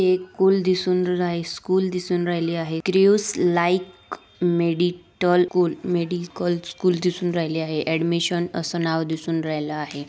एक कूल दिसून राही एक स्कूल दिसून राहिले आहे क्रिउस लाईक मेडिटल कूल मेडिकल स्कूल दिसून राहिले आहे ऍडमिशन असं नाव दिसून राहिल आहे.